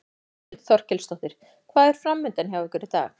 Þórhildur Þorkelsdóttir: Hvað er framundan hjá ykkur í dag?